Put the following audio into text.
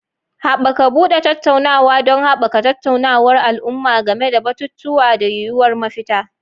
Haɓaka buɗe tattaunawa don haɓaka tattaunawar al'umma game da batutuwa da yuwuwar mafita.